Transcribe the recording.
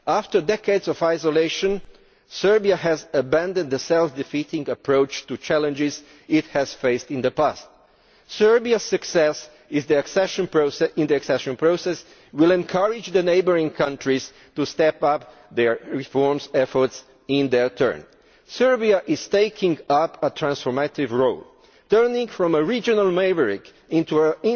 After decades of isolation, Serbia has abandoned the self defeating approach to challenges it has faced in the past. Serbiaʼs success in the accession process will encourage its neighbouring countries to step up their reform efforts in their turn. Serbia is taking up a transformative role turning from a regional maverick into